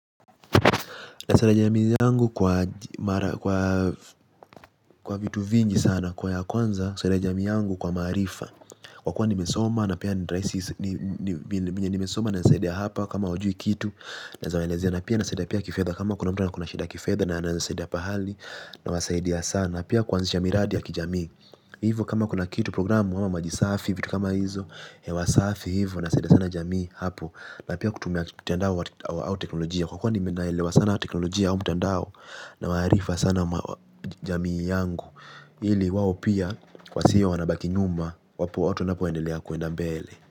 Na sada jami yangu kwa vitu sana na zameleziya na pia nasaidiya pia kifedha kama kuna mtana kuna shida kifedha na nasaidiya pahali. Na wasaidia sana pia kwanzisha miradi ya kijami. Hivo kama kuna kitu programu wama majisafi vitu kama hizo. Hewasafi hivo nasaidiya sana jami hapo. Na pia kutumia kutenda wa au teknolojia. Kwa kwa ni menailewa sana teknolojia au mtandao. Na maharifa sana jamii yangu. Ili wawo pia kwa siyo wanabaki nyuma. Wapu watu napuendelea kuenda mbele.